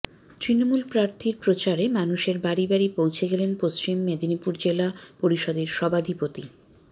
তৃণমূল প্রার্থীর প্রচারে মানুষের বাড়ি বাড়ি পৌছে গেলেন পশ্চিম মেদিনীপুর জেলা পরিষদের সভাধিপতি